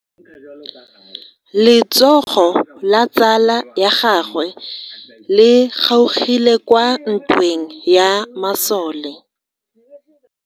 Letsogo la tsala ya gagwe le kgaogile kwa ntweng ya masole.